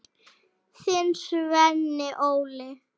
Þinn, Sveinn Óli.